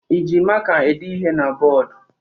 Ị ji maka ede ihe na bọọdụ?